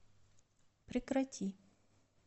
прекрати